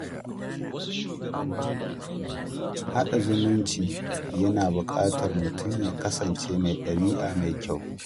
Haɗa zumunci yana buƙatar mutum ya kasance mai ɗabi’a mai kyau.